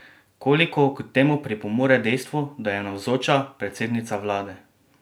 Koliko k temu pripomore dejstvo, da je navzoča predsednica vlade?